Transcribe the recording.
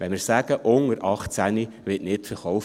Wenn wir sagen, «Unter 18 wird nicht verkauft.